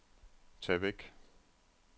tag væk